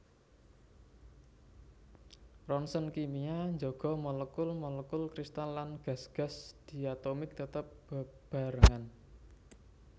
Roncèn kimia njaga molekul molekul kristal lan gas gas diatomik tetep bebarengan